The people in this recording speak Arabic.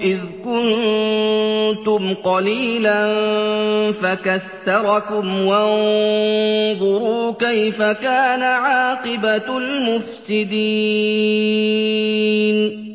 إِذْ كُنتُمْ قَلِيلًا فَكَثَّرَكُمْ ۖ وَانظُرُوا كَيْفَ كَانَ عَاقِبَةُ الْمُفْسِدِينَ